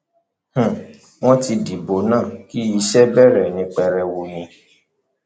um wọn ti dìbò náà kí iṣẹ bẹrẹ pẹrẹwu ni